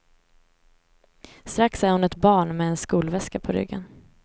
Strax är hon ett barn med en skolväska på ryggen.